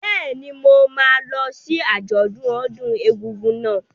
Bẹ́ẹ̀ni, mo máa lọ sí àjọ̀dún ọdún egúngún náà.